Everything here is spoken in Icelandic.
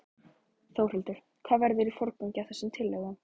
Þórhildur: Hvað verður í forgangi af þessum tillögum?